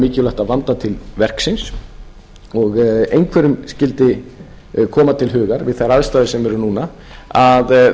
mikilvægt að vanda til verksins og einhverjum skyldi koma til hugar við þær aðstæður sem eru núna